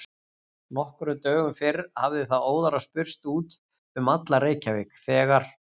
Nokkrum dögum fyrr hafði það óðara spurst út um alla Reykjavík, þegar